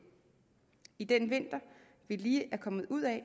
i den vinter vi lige er kommet ud af